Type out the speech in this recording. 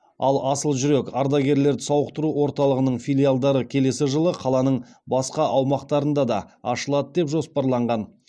ал асыл жүрек ардагерлерді сауықтыру орталығының филиалдары келесі жылы қаланың басқа аумақтарында да ашылады деп жоспарланған